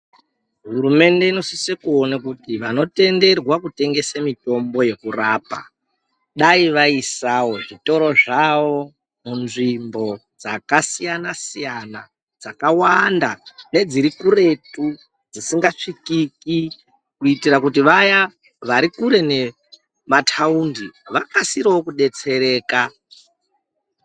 Hurumende inosise kuona kuti vanotenderwa kutengese mitombo yekurapa. Dai vaisavo zvitoro zvavo munzvimbo dzakasiyana-siyana, dzakawanda nedziri kuretu dzisingasvikiki. Kuitire kuti vaya vari kure nemataundi vakasirevo kudetsereka.